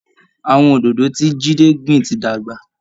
Àwọn oòdòdó ti Jídé gbìn ti dàgbà